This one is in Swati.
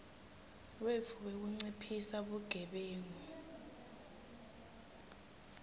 wetfu wekunciphisa bugebengu